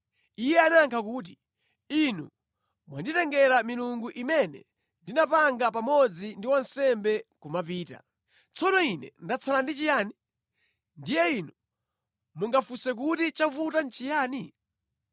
Iye anayankha kuti, “Inu mwanditengera milungu imene ndinapanga pamodzi ndi wansembe nʼkumapita. Tsono ine ndatsala ndi chiyani? Ndiye inu mungafunse kuti chavuta nʼchiyani?”